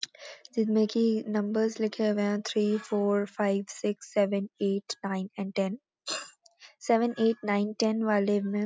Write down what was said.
जिसमें कि नंबर्स लिखे हुए हैं three four five six seven eight nine and ten. Seven eight nine ten वाले में --